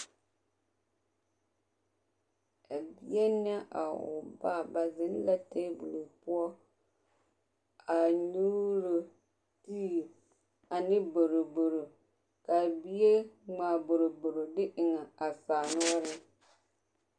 A bie ne a o ba, ba zeŋ la teebol poɔ a nyuuro tii ane boroboro k'a bie ŋmaa boroboro de eŋ a saa noɔreŋ.